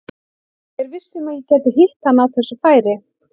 Ég er viss um að ég gæti hitt hann á þessu færi.